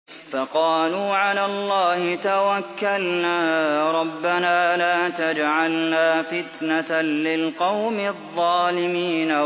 فَقَالُوا عَلَى اللَّهِ تَوَكَّلْنَا رَبَّنَا لَا تَجْعَلْنَا فِتْنَةً لِّلْقَوْمِ الظَّالِمِينَ